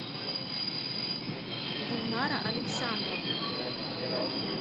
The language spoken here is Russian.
гульнара александровна